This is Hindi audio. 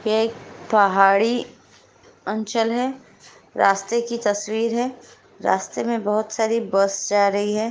ये एक पहाड़ी अंचल है रास्ते की तस्‍वीर है रास्ते में बहुत सारी बस जा रही है।